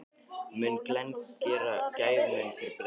Mun Glenn gera gæfumuninn fyrir Breiðablik?